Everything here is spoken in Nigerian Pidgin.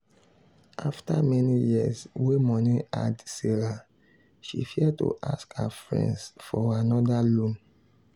after many years wey money hard sarah she fear to ask her friends for another loan.